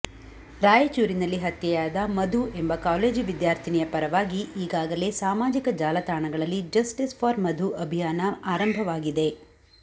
ರಾಯಚೂರಿನಲ್ಲಿ ಹತ್ಯೆಯಾದ ಮಧು ಎಂಬ ಕಾಲೇಜು ವಿದ್ಯಾರ್ಥಿನಿಯ ಪರವಾಗಿ ಈಗಾಗಲೇ ಸಾಮಾಜಿಕ ಜಾಲತಾಣಗಳಲ್ಲಿ ಜಸ್ಟಿಸ್ ಫಾರ್ ಮಧು ಅಭಿಯಾನ ಆರಂಭವಾಗಿದೆ